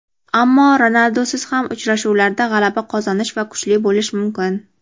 Ammo Ronaldusiz ham uchrashuvlarda g‘alaba qozonish va kuchli bo‘lish mumkin.